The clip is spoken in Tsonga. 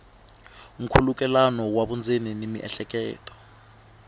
nkhulukelano wa vundzeni na miehleketo